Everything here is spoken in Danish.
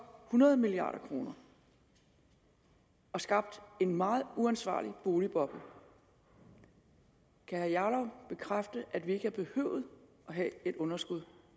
hundrede milliard kroner og skabt en meget uansvarlig boligboble kan herre jarlov bekræfte at vi ikke havde behøvet at have et underskud